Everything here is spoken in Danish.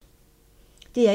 DR1